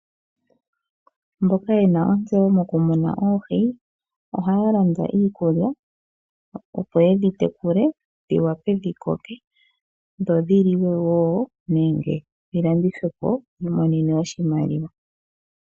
Mboka yena ontseyo moku muna oohi, ohaya landa iikulya, opo yedhi tekule, dhi wape dhi koke, dho dhi liwe wo nenge dhi landithwe po wu imonene oshimaliwa.